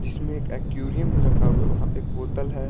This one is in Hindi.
जिसमें एक एक्वेरियम भी रखा हुआ है वहाँ पे एक बोतल है।